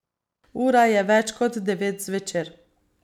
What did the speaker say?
Ura je več kot devet zvečer.